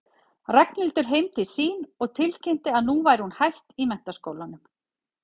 Ragnhildur heim til sín og tilkynnti að nú væri hún hætt í menntaskólanum.